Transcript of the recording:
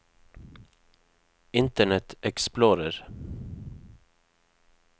internet explorer